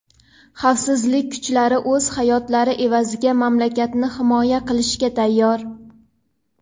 xavfsizlik kuchlari o‘z hayotlari evaziga mamlakatni himoya qilishga tayyor.